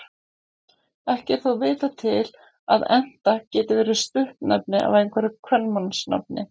Ekki er þó vitað til að Enta geti verið stuttnefni af einhverju kvenmannsnafni.